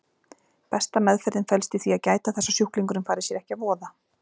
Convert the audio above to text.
Besta meðferðin felst í því að gæta þess að sjúklingurinn fari sér ekki að voða.